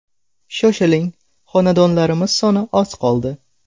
Shoshiling, xonadonlarimiz soni oz qoldi!